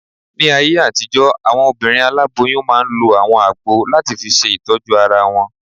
Ní ayé àtijọ́, àwọn obìnrin aláboyún máa n lo àwọn àgbo láti fi ṣe ìtọ́jú ara wọn